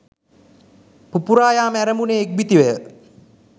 පුපුරා යාම ඇරඹුණේ ඉක්බිතිවය.